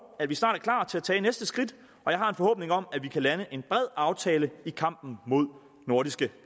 at vi snart er klar til at tage næste skridt og jeg har en forhåbning om at vi kan lande en bred aftale i kampen mod nordiske